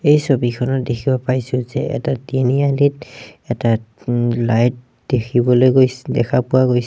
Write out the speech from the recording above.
এই ছবিখনত দেখিব পাইছোঁ যে এটা তিনিআলিত এটা উম লাইট দেখিবলৈ গৈছ দেখা পোৱা গৈছে।